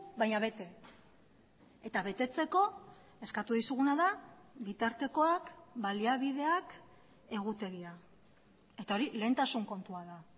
baina bete eta betetzeko eskatu dizuguna da bitartekoak baliabideak egutegia eta hori lehentasun kontua da